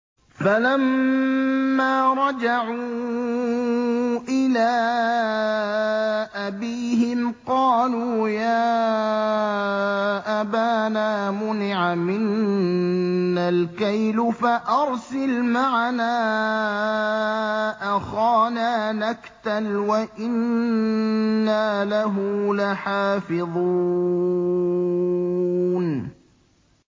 فَلَمَّا رَجَعُوا إِلَىٰ أَبِيهِمْ قَالُوا يَا أَبَانَا مُنِعَ مِنَّا الْكَيْلُ فَأَرْسِلْ مَعَنَا أَخَانَا نَكْتَلْ وَإِنَّا لَهُ لَحَافِظُونَ